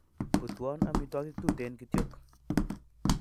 Putwon amitwakik tuten kityok